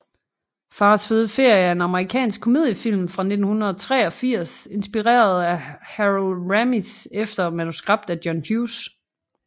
Fars fede ferie er en amerikansk komediefilm fra 1983 instrueret af Harold Ramis efter manuskript af John Hughes